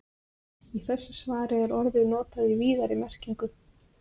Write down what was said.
Í þessu svari er orðið notað í víðari merkingunni.